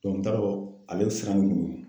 n t'a dɔn ale bɛ siran